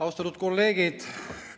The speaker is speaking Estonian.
Austatud kolleegid!